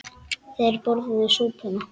Þeir borðuðu súpuna.